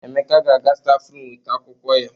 Emeka ga-aga stafrum weta akwụkwọ ya.